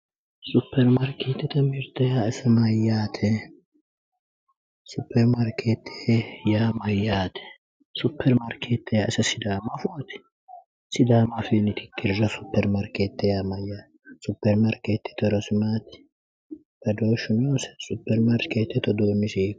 Supermarkeetete mirite yaa isi Mayyaate? Supermarkeetete yaa Mayyaate? Supermarkeete yaa ise sidaamu afooti? Sidaamu afiinni tittiriro supermarkeete yaa Mayyaate? Supermarkeetete horosi maati? Badooshu noose? Supermarkeetete uduunni isi hiitooho?